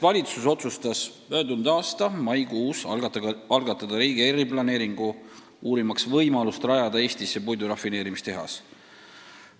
" Valitsus otsustas möödunud aasta maikuus algatada riigi eriplaneeringu, uurimaks võimalust rajada Eestisse puidurafineerimistehas.